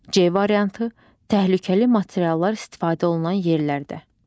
C variantı: təhlükəli materiallar istifadə olunan yerlərdə.